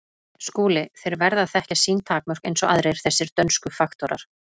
SKÚLI: Þeir verða að þekkja sín takmörk eins og aðrir, þessir dönsku faktorar.